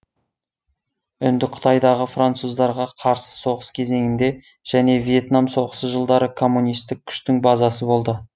үндіқытайдағы француздарға қарсы соғыс кезеңінде және вьетнам соғысы жылдары коммунистік күштің базасы болды